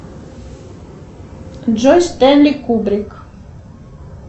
джой стенли кубрик